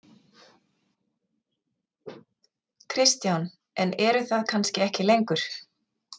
Kristján: En eru það kannski ekki lengur?